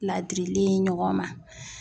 Ladirili ye ɲɔgɔn ma.